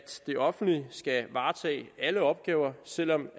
det offentlige skal varetage alle opgaver selv om